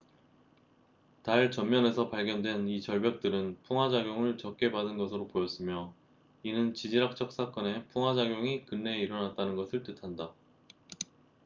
달 전면에서 발견된 이 절벽들은 풍화작용을 적게 받은 것으로 보였으며 이는 지질학적 사건의 풍화작용이 근래에 일어났다는 것을 뜻한다